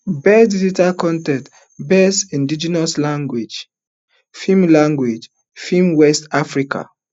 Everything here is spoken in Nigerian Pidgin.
best digital con ten t best indigenous language film language film west africa